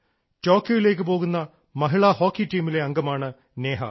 ടോക്കിയോയിലേക്ക് പോകുന്ന മഹിളാ ഹോക്കി ടീമിലെ അംഗമാണ് നേഹ